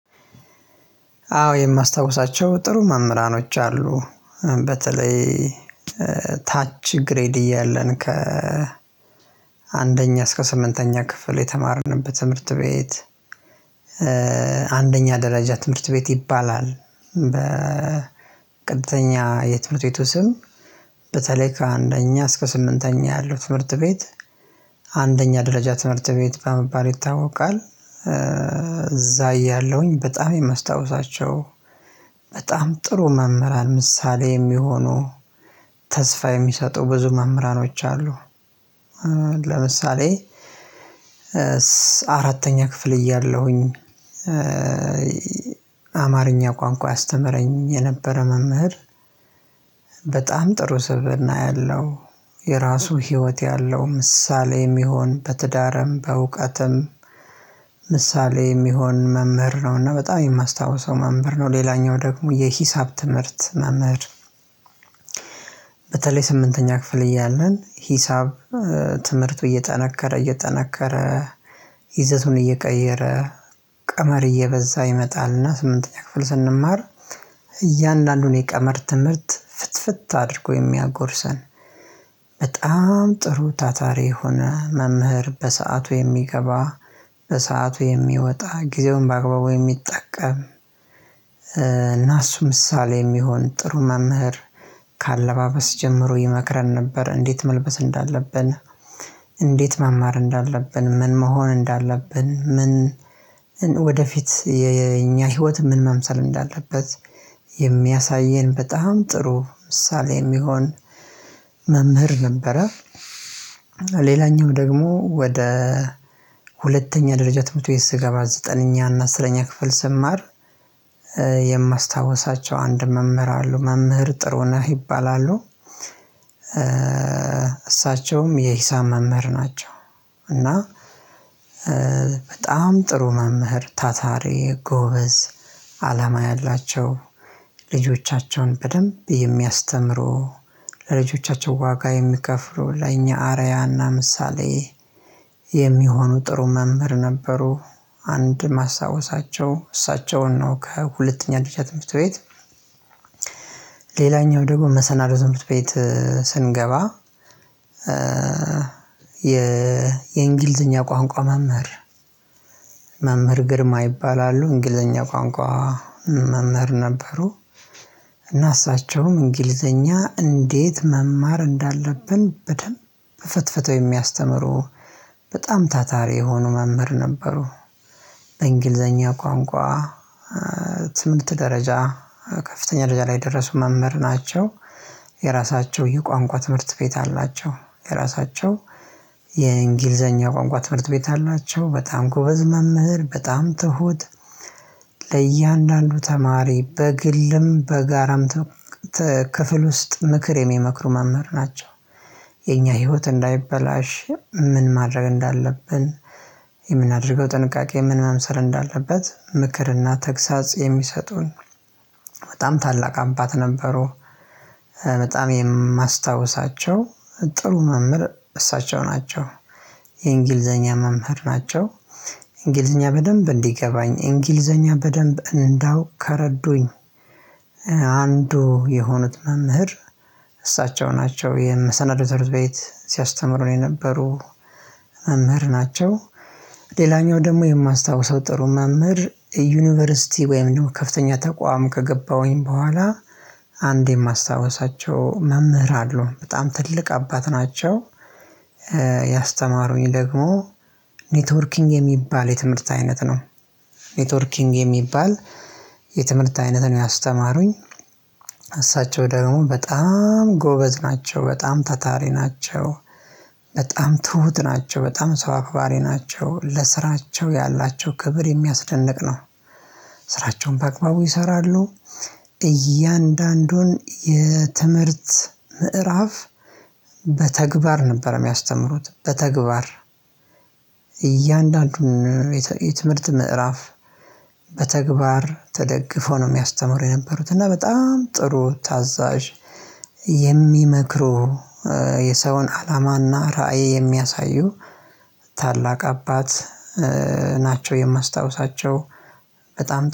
አዎ የማስታውሳቸው ጥሩ መምህራኖች አሉ። በተለይ ታች ግሬድ እያለን ከ አንደኛ እስከ ስምንተኛ ክፍል የተማርንበት ትምህርት ቤት አንደኛ ደረጃ ትምህርት ቤት ይባላል በቀጥተኛ የትምህርት ቤቱ ስም በተለይ ከአንደኛ እስከ ስምንተኛ ያለው ትምህርት ቤት አንደኛ ደረጃ ትምህርት ቤት በመባል ይታወቃል። እዛ እያለሁኝ በጣም የማስታውሳቸው በጣም ጥሩ መምህራን ምሳሌ የሚሆኑ፣ ተስፋ የሚሰጡ ብዙ መምህራኖች አሉ። ለምሳሌ አራተኛ ክፍል እያለሁኝ አማርኛ ቋንቋ ያስተምረኝ የነበረ መምህር በጣም ጥሩ ስብእና ያለው፣ የራሱ ህይወት ያለው፣ ምሳሌ የሚሆን፣ በትዳርም በእውቀትም ምሳሌ የሚሆን መምህር ነው። እና በጣም የማስታውሰው መምህር ነው። ሌላኛው ደግሞ የሂሳብ ትምህርት መምህር በተለይ ስምንተኛ ክፍል እያለን ሂሳብ ትምህርቱ እየጠነከረ እየጠነከረ፣ ይዘቱን እየቀየረ፣ ቀመር እየበዛ ይመጣል። እና ስምንተኛ ክፍል ስንማር፤ እያንዳንዱን የቀመር ትምህርት ፍትፍት አድርጎ የሚያጎርሰን በጣም ጥሩ ታታሪ የሆነ መምህር፣ በሰአቱ የሚገባ፣ በሰአቱ የሚወጣ፣ ጊዜውን በአግባቡ የሚጠቀም እና እሱ ምሳሌ የሚሆን ጥሩ መምህር ከአለባበስ ጀምሮ ይመክረን ነበር። እንዴት መልበስ እንዳለብ፣ እንዴት መማር እንዳለብን፣ ምን መሆን እንዳለብን፣ ምን ወደፊት የኛ ህይወት ምን መምሰል እንዳለበት የሚያሳየን በጣም ጥሩ ምሳሌ የሚሆን መምህር ነበረ። ሌላኛው ደግሞ ወደ ሁለተኛ ደረጃ ትምሀርት ቤት ስገባ፤ ዘጠነኛ እና አስረኛ ክፍል ስማር የማስታወሳቸው አንድ መምህር አሉ። መምህር ጥሩነህ ይባላሉ። እሳቸውም የሂሳብ መምህር ናቸው። እና በጣም ጥሩ መምህር፣ ታታሪ፣ ጎበዝ፣ አላማ ያላቸው፣ ልጆቻቸውን በደንብ የሚያስተምሩ፣ ለልጆቻቸው ዋጋ የሚከፍሉ፣ ለኛ አርአያና ምሳሌ የሚሆኑ ጥሩ መምህር ነበሩ። አንድ የማስታውሳቸው እሳቸውን ነው ከሁለተኛ ደረጃ ትምህርት ቤት ሌላኛው ደግሞ መሰናዶ ትምህርት ቤት ስንገባ፤ የእንግሊዝኛ ቋንቋ መምህር መምህር ግርማ ይባላሉ። እንግሊዘኛ ቋንቋ መምህር ነበሩ እና እሳቸውም እንግሊዘኛ እንዴት መማር እንዳለብን በደንብ ፈትፈተው የሚያስተምሩ በጣም ታታሪ የሆኑ መምህር ነበሩ። እንግሊዘኛ ቋንቋ ትምህርት ደረጃ ከፍተኛ ደረጃ ላይ የደረሱ መምህር ናቸው። የራሳቸው የቋንቋ ትምህርት ቤት አላቸው። የራሳቸው የእንግሊዘኛ ቋንቋ ትምህርት ቤት አላቸው። በጣም ጎበዝ መምህር፣ በጣም ትሁት፣ ለእያንዳንዱ ተማሪ በግልም በጋራም ክፍል ውስጥ ምክር የሚመክሩ መምህር ናቸው። የኛ ህይወት እንዳይበላሽ ምን ማድረግ እንዳለብን፤ የምናደርገው ጥንቃቄ ምን መምሰል እንዳለበት ምክርና ተግሳጽ የሚሰጡን በጣም ታላቅ አባት ነበሩ። በጣም የማስታውሳቸው ጥሩ መምህር እሳቸው ናቸው የእንግሊዘኛ መምህር ናቸው። እንግሊዘኛ በደንብ እንዲገባኝ፣ እንግሊዘኛ በደንብ እንዳውቅ ከረዱኝ አንዱ የሆኑት መምህር እሳቸው ናቸው። የመሰናዶ ትምህርት ቤት ሲያስተምሩ የነበሩ መምህር ናቸው። ሌላኛው ደግሞ የማስታውሰው ጥሩ መምህር ዩኒቨርሲቲ ወይም ደግሞ ከፍተኛ ተቋም ከገባሁኝ በኋላ፤ አንድ የማስታውሳቸው መምህር አሉ። በጣም ትልቅ አባት ናቸው። ያስተማሩኝ ደግሞ ኔትወርኪንግ የሚባል የትምህርት አይነት ነው። ኔትወርኪንግ የሚባል የትምህርት አይነት ነው ያስተማሩኝ። እሳቸው ደግሞ በጣም ጎበዝ ናቸው። በጣም ታታሪ ናቸው። በጣም ትሁት ናቸው፣ በጣም ሰው አክባሪ ናቸው፣ ለስራቸው ያላቸው ክብር የሚያስደንቅ ነው። ስራቸውን በአግባቡ ይሰራሉ። እያንዳንዱን የትምህርት ምዕራፍ በተግባር ነበር የሚያስተምሩት በተግባር። እያንዳንዱን የትምህርት ምዕራፍ በተግባር ተደግፎ ነው የሚያስተምሩ የነበሩት። እና በጣም ጥሩ፣ ታዛዥ፣ የሚመክሩ የሰውን አላማና ራዕይ የሚያሳዩ ታላቅ አባት ናቸው የማስታውሳቸው በጣም።